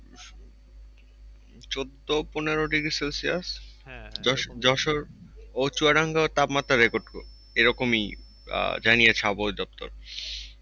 চোদ্দো-পনেরো degrees Celsius Jessore ও চুয়াডাঙ্গার তাপমাত্রা record এরকমই আহ জানিয়েছে আবহাওয়া অধিদপ্তর।